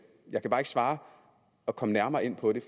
jeg kan bare ikke svare og komme nærmere ind på det